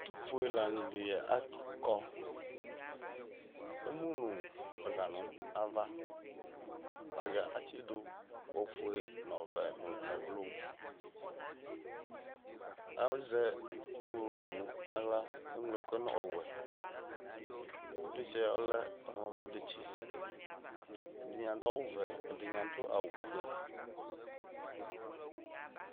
ɛtu fue la ni di akɔ, emu nu ɛga nu ava, ɛgɛ atsidu nu ɔvɛ nu ɛblu, azɛ ɛku tu nu aɣla eŋlo ɛkuɛ nu ɔwɛ, ivlitsɛ ɔlɛ ɔwlɔmɔ detsi ɛdini adu awu vɛ ɛdi ni adu awu fue